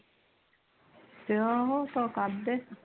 ਤੇ ਉਹ